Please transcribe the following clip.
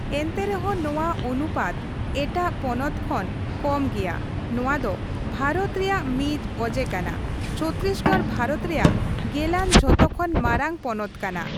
ᱮᱱᱛᱮ ᱨᱮᱦᱚᱸ ᱱᱚᱣᱟ ᱚᱱᱩᱯᱟᱛ ᱮᱴᱟᱜ ᱯᱚᱱᱚᱛ ᱠᱷᱚᱱ ᱠᱚᱢ ᱜᱮᱭᱟ ᱱᱚᱣᱟ ᱫᱚ ᱵᱷᱟᱨᱚᱛ ᱨᱮᱭᱟᱜ ᱢᱤᱫ ᱚᱡᱮ ᱠᱟᱱᱟ ᱪᱷᱚᱛᱛᱤᱥᱜᱚᱲ ᱵᱷᱟᱨᱚᱛ ᱨᱮᱭᱟᱜ ᱜᱮᱞᱟᱱ ᱡᱚᱛᱚᱠᱷᱚᱱ ᱢᱟᱨᱟᱝ ᱯᱚᱱᱚᱛ ᱠᱟᱱᱟ ᱾